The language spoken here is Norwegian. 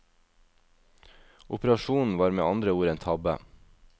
Operasjonen var med andre ord en tabbe.